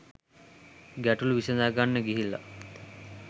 ගැටළු විසඳගන්න ගිහිල්ලා